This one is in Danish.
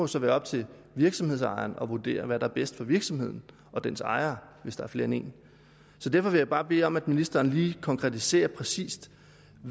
så være op til virksomhedsejeren at vurdere hvad der er bedst for virksomheden og dens ejere hvis der er flere end en så derfor vil jeg bare bede om at ministeren lige konkretiserer præcis